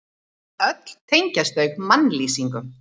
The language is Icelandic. Öll tengjast þau mannlýsingum.